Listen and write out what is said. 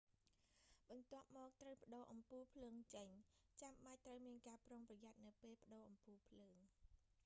បន្ទាប់មក ត្រូវប្ដូរអំពូលភ្លើងចេញ ចាំបាច់ត្រូវមានការប្រុងប្រយ័ត្ននៅពេលប្ដូរអំពូលភ្លើង